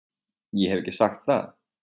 Ég hef ekki sagt það!